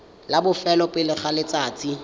la bofelo pele ga letsatsi